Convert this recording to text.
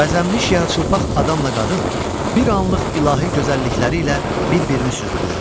Bəzənmiş yarıçılpaq adamla qadın bir anlıq ilahi gözəllikləri ilə bir-birini süzdülər.